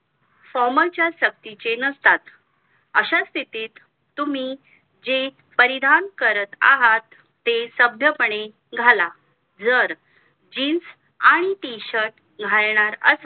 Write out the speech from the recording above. formal च्या शक्तीचे नसतात अश्या स्तिथीत तुम्ही जे परिधान करत आहात ते सभ्य पणे घाला जर jeans आणि t-shirt घालणार असाल